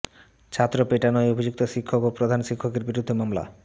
ছাত্র পেটানোয় অভিযুক্ত শিক্ষক ও প্রধান শিক্ষকের বিরুদ্ধে মামলা